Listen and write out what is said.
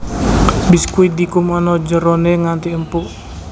Biskuit dikum ana jerone nganti empuk